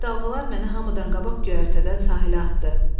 Dəhşətli dalğalar məni hamıdan qabaq göyərtədən sahilə atdı.